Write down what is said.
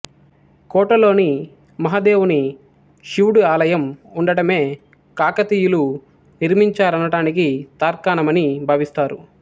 కోటలోని మహదేవుని శివుడు ఆలయం ఉండడమే కాకతీయుల నిర్మించారనటానికి తార్కాణమని భావిస్తారు